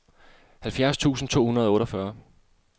halvfjerds tusind to hundrede og otteogfyrre